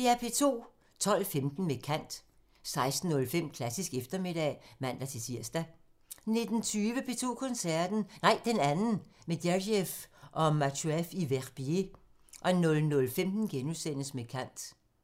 12:15: Med kant 16:05: Klassisk eftermiddag (man-tir) 19:20: P2 Koncerten – Nej, den anden – med Gergiev og Matsuev i Verbier 00:15: Med kant *